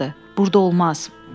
Burda olmaz.